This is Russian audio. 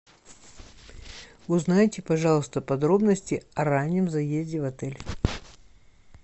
узнайте пожалуйста подробности о раннем заезде в отель